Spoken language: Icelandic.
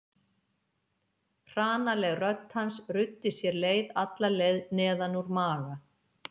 Hranaleg rödd hans ruddi sér leið alla leið neðan úr maga